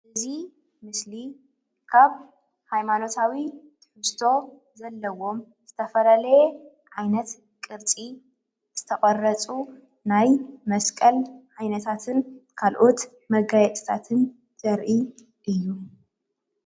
እዚ ምስሊ አብ ሃይማኖታዊ ትሕዝቶ ዘለዎም ዝተፈላለየ ዓይነት ቅርፂ ዝተቐረፁ ናይ መስቀል ዓይነታትን ካልኣት መጋየፅታትን ዘርኢ እዩ።